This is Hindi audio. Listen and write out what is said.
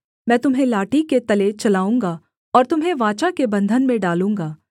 मैं तुम्हें लाठी के तले चलाऊँगा और तुम्हें वाचा के बन्धन में डालूँगा